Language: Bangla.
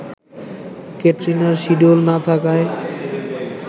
ক্যাটরিনার শিডিউল না থাকায়